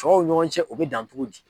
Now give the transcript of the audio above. Tɔw ɲɔgɔn cɛ u bɛ dan cogo di?